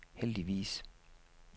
heldigvis